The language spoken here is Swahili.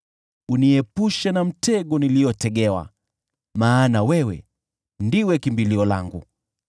Uniepushe na mtego niliotegewa, maana wewe ndiwe kimbilio langu.